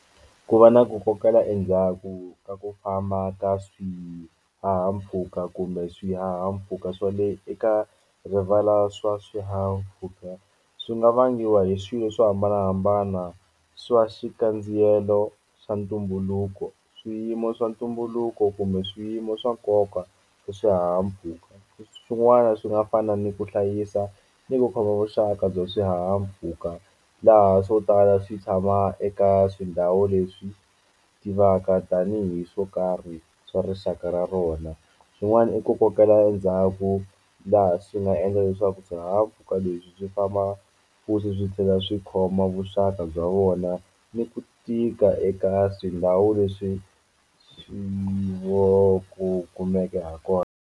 Ku va na ku kokela endzhaku ka ku famba ka swi swihahampfhuka kumbe swihahampfhuka swa le eka rivala swa swihahampfhuka swi nga vangiwa hi swilo swo hambanahambana swa xikandziyisa swilo swa ntumbuluko swiyimo swa ntumbuluko kumbe swiyimo swa nkoka hi swihahampfhuka swin'wana swi nga fana ni ku hlayisa ni ku khoma vuxaka bya swihahampfhuka laha swo tala swi tshama eka tindhawu leswi tivaka tanihi swo karhi swa rixaka ra rona swin'wana i ku kokela ndzhaku laha swi nga endla leswaku swihahampfhuka leswi byi famba futhi swi tlhela swi khoma vuxaka bya vona ni ku tika eka tindhawu leswi swi vo ku kumeke ha kona.